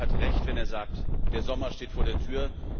Syed Kamall hat Recht, wenn er sagt Der Sommer steht vor der Tür.